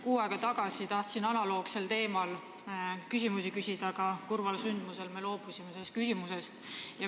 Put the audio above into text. Kuu aega tagasi tahtsin analoogsel teemal küsimusi küsida, aga kurva sündmuse tõttu loobusin sellest.